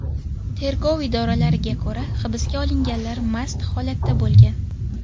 Tergov idoralariga ko‘ra, hibsga olinganlar mast holatda bo‘lgan.